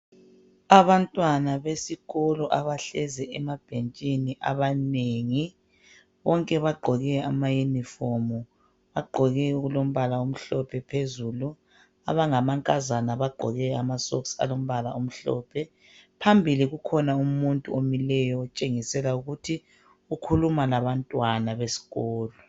Abantwana besikolo abahlezi emabhentshini abanengi. Bonke bagqoke amayunifomu, bagqoke okulombala omhlophe phezulu abangamankazana bagqoke amasoksi alombala omhlophe. Phambili kukhona umuntu omileyo otshengisela ukuthi ukhuluma labantwana besikolo.